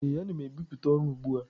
Ee, ana m ebipụta ọrụ ugbu a.